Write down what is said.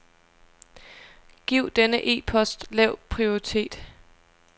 Giv denne e-post lav prioritet.